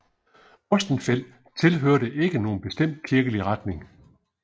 Ostenfeld tilhørte ikke nogen bestemt kirkelig retning